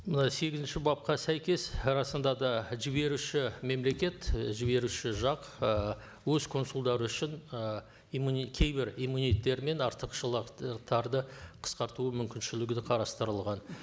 мына сегізінші бапқа сәйкес расында да жіберуші мемлекет і жіберуші жақ ы өз консулдары үшін ы кейбір мен артықшылық қысқартуы мүмкіншілігі де қарастырылған